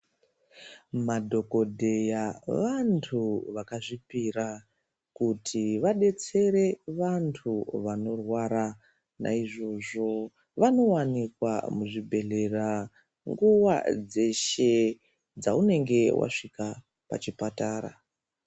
Madhokodheya vantu vakazvipira kuti vadetsere vantu vanorwara naizvozvo vanowanikwa muzvibhedhlera nguwa dzeshe dzaunenge wasvika pachipatara.